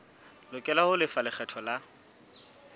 lokela ho lefa lekgetho la